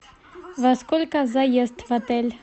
во сколько заезд в отель